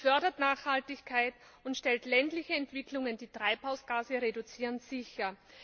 Sie fördert Nachhaltigkeit und stellt ländliche Entwicklungen, die Treibhausgase reduzieren, sicher.